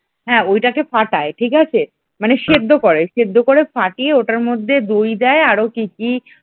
হ্যাঁ ওটাকে ফাটায় ঠিক আছে মানে সেদ্ধ করে সেদ্ধ করে ফাটিয়ে ওটার মধ্যে দই দেই আরও কি কি,